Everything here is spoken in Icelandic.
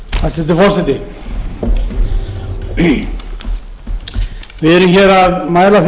hæstvirtur forseti við erum hér að mæla fyrir